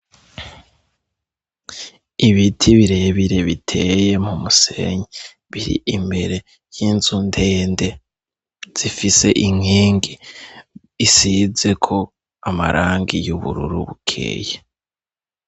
Ibiti birebire biteye mu musenyi. Bir'imbere y'inzu ndende, zifise inkingi isizeko amarangi y'ubururu bukeye.